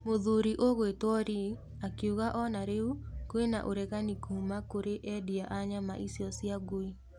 Mũthuri ũgwĩto Li akiuga o na rĩu kwĩna ũregani kuma kũrĩ endia a nyama icio cia ngui.